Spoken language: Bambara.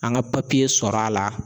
An ga papiye sɔrɔ a la